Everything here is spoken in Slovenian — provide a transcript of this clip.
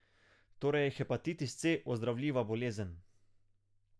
Torej je hepatitis C ozdravljiva bolezen.